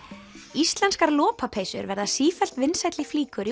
íslenskar lopapeysur verða sífellt vinsælli flíkur í